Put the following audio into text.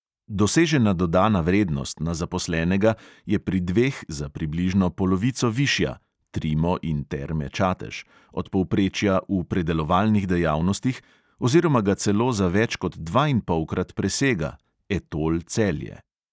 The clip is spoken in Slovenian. Dosežena dodana vrednost na zaposlenega je pri dveh za približno polovico višja (trimo in terme čatež) od povprečja v predelovalnih dejavnostih oziroma ga celo za več kot dvainpolkrat presega (etol celje).